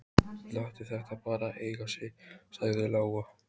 Láttu þetta bara eiga sig, sagði Lóa.